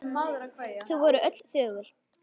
Þau voru öll þögul.